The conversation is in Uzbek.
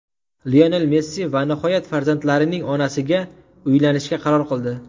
Lionel Messi va nihoyat farzandlarining onasiga uylanishga qaror qildi.